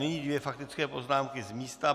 Nyní dvě faktické poznámky z místa.